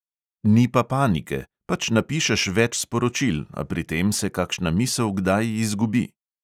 Ni pa panike, pač napišeš več sporočil, a pri tem se kakšna misel kdaj izgubi.